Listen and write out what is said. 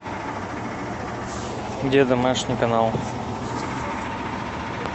где домашний канал